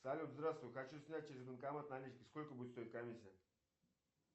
салют здравствуй хочу снять через банкомат наличные сколько будет стоить комиссия